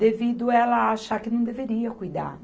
devido a ela achar que não deveria cuidar.